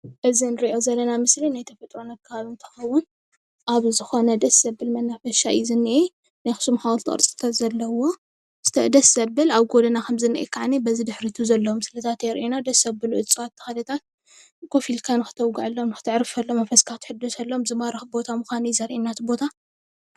እዚ ንርኦም ዘለና ምስሊ ናይ ተፈጥሮን ኣከባቢን እንትከውን ኣብ ዝኮነ ደስ ዘብል መናፈሻ እዩ ዝነሄ። ናይ ኣክሱም ሓወልቲ ቅርፅታት ዘለዎ ደስ ዘብል ኣብ ጎደና ከም ዝነህ ድማኒ በዚ ድሕሪና ዘሎ ምስሊታት የርኢና ደስ ዝብል እፅዋት ተክልታት ከፍ ኢልካ ክተወገዕሎም፣ ክትዕርፈሎም፣ መንፈስካ ክትሕደሰሎም፣ ዝማርኩ ቦታ ምካኖም እዩ ዝርኤና እቲ ቦታ።